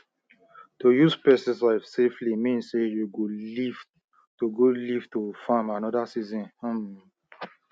to use pesticide safely mean say you go live to go live to farm another season um